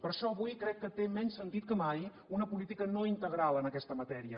per això avui crec que té menys sentit que mai una política no integral en aquesta matèria